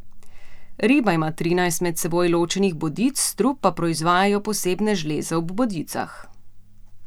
Riba ima trinajst med seboj ločenih bodic, strup pa proizvajajo posebne žleze ob bodicah.